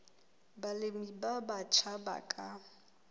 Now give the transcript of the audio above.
balemi ba batjha ba ka